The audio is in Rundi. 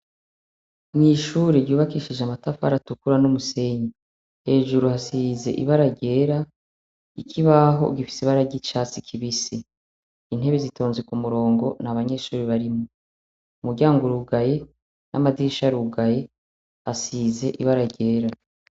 Mw'ishure ryubakishije amatafaratukura n'umusenyi hejuru hasize ibara ryera ikibaho gifisi bararya icatsi kibise intebe zitonze ku murongo n' abanyeshuri barimwo umuryango urugaye n'amadisha rugaye hasize ibara ryera.